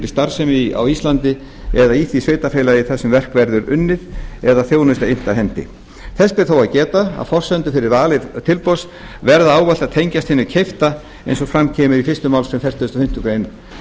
starfsemi á íslandi eða í því sveitarfélagi þar sem verk verður unnið eða þjónusta innt af hendi þess ber þó að geta að forsendur fyrir vali tilboðs verða ávallt að tengjast hinu keypta eins og fram kemur í fyrstu málsgrein fertugustu og fimmtu grein